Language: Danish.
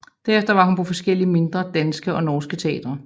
Derefter var hun på forskellige mindre danske og norske teatre